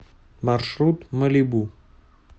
маршрут малибу